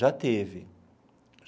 Já teve.